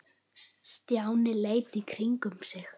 Stjáni leit í kringum sig.